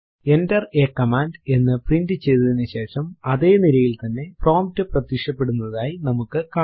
enter a command എന്ന് print ചെയ്തതിനുശേഷം അതെ നിരയിൽ തന്നെ പ്രോംപ്റ്റ് പ്രത്യക്ഷപെടുന്നതായി നമുക്ക് കാണാം